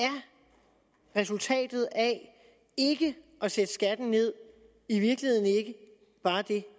er resultatet af ikke at sætte skatten ned i virkeligheden ikke bare det